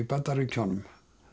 Bandaríkjunum